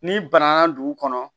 N'i banana dugu kɔnɔ